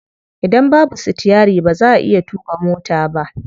Idan babu sitiyari ba za'a iya tuƙa mota ba.